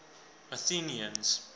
athenians